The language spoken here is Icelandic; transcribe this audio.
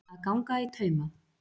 Að ganga í tauma